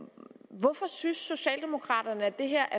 hvorfor synes socialdemokraterne at det her